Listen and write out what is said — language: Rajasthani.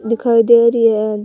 दिखाई दे रही है।